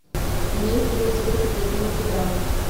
имеется ли у тебя секретные материалы